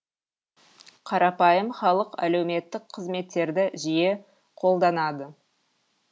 қарапайым халық әлеуметтік қызметтерді жиі қолданады